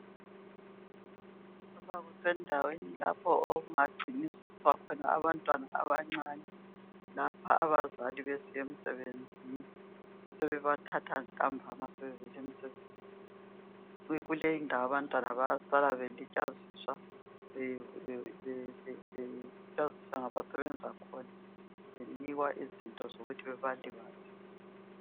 Lapha kusendaweni lapho okungangciniswa khona abantwana abancane. Lapha abazali besiye misebenzini, besebebathatha ntambama sebevele misebenzini. Kule indawo abantwana bayasala belitshaziswa ngabasebenza khona. Benikwa izinto zokuthi bebalibazise.